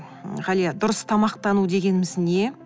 м ғалия дұрыс тамақтану дегеніміз не